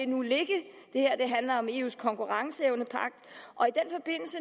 nu ligge det her handler om eus konkurrenceevnepagt